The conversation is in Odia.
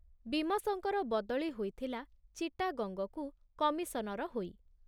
ବୀମସଙ୍କର ବଦଳି ହୋଇଥିଲା ଚିଟାଗଙ୍ଗକୁ କମିଶନର ହୋଇ।